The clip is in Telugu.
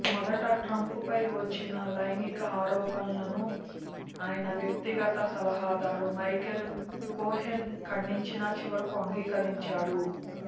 మొదట ట్రంప్పై వచ్చిన లైంగిక ఆరోపణలను ఆయన వ్యక్తిగత సలహాదారు మైకెల్ కోహెన్ ఖండించినా చివరకు అంగీకరించాడు